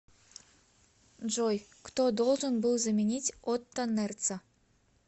джой кто должен был заменить отто нерца